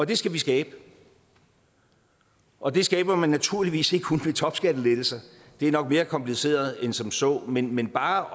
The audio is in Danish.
det skal vi skabe og det skaber man naturligvis ikke kun ved topskattelettelser det er nok mere kompliceret end som så men men bare